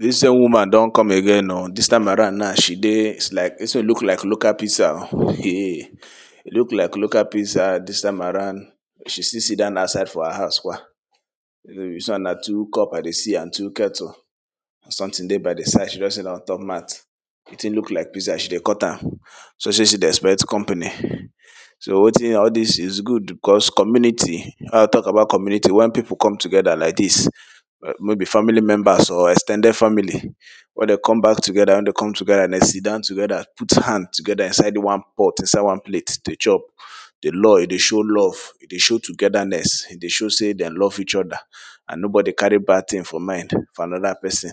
dis same woman don come again o dis time around now she dey is like dis thing look like local pizza o it look like local pizza dis time around she still sit dan outside for her house kwa dis one na two cup i dey see and two kettle if something dey by de side she just sit don on top mat de thing look like pizza she dey cut am sure sey she dey expect company all dis is good bekos community wen you talk about community wen people come togeda like dis no be family members or ex ten ded family wen dey come back togeda wen dey come togeda sit dan togeda put hand togeda inside one pot inside one plate to chop de law e dey show love e dey show togedaness e dey show sey dem love each oda and no body carry bad thing for mind for anoda person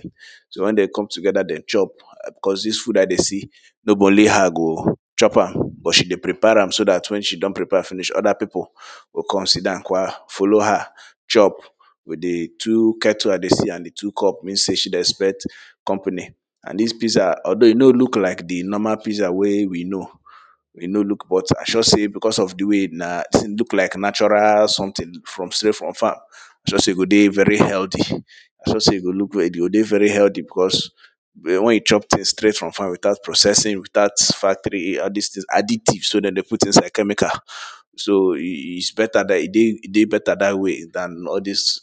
so wen dem come togeda dem chop bekos dis food i dey see no be only her go chop am but she dey prepare am so dat wen she don prepare finish oda people go come sit dan kwa follow her chop with de two kettle i dey see and de two cup means sey she de expect company and dis pizza although e no look like de normal pizza wey we know e no look but i sure sey becos of de way na look like natural something from straight from farm e sure sey go dey very healthy i sure sey e go de very healthy becos but wen you chop things strait from farm without processing without factory all dis things addictive so dem dey put inside chemical so is beta dat e dey beta dat way dan all dis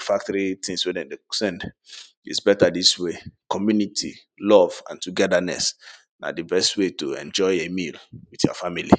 factory things wey dem dey send it is beta dis way community love and togedaness na de best way to enjoy a meal with your family